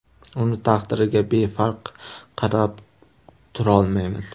Uning taqdiriga befarq qarab tura olmaymiz.